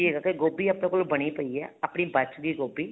ਕੀ ਹੈਗਾ ਕੇ ਗੋਭੀ ਆਪਣੇ ਕੋਲ ਬਣੀ ਪਈ ਹੈਗੀ ਏ ਆਪਣੀ ਬੱਚ ਗਈ ਗੋਭੀ